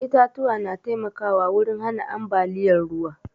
Itatuwa na taimkawa wurin hana ambaliyar ruwa